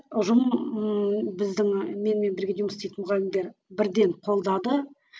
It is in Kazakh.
ұжым ммм біздің менімен бірге жұмыс істейтін мұғалімдер бірден қолдады